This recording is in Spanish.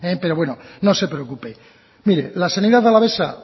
pero bueno no se preocupe mire la sanidad alavesa